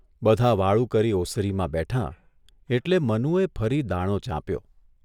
બધાં વાળુ કરી ઓસરીમાં બેઠાં એટલે મનુએ ફરી દાણો ચાંપ્યો.